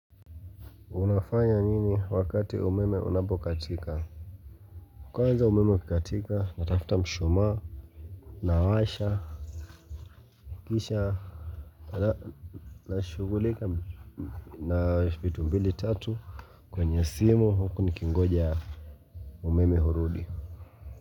Unafanya nini wakati umeme unapokatika? Kwanza umeme ukikatika natafuta mshumaa, nawasha kisha Nashughulika na vitu mbili tatu kwenye simu huku nikingoja umeme urudi.